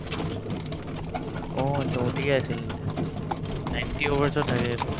অ, achcha ODI আছিল ninety overs ত থাকে এইটো